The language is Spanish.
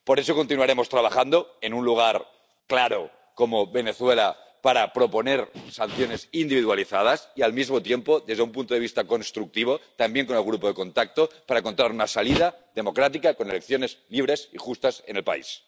Por eso continuaremos trabajando en un lugar claro, como Venezuela, para proponer sanciones individualizadas y, al mismo tiempo, desde un punto de vista constructivo, también con el Grupo de Contacto, para encontrar una salida democrática con elecciones libres y justas en el país.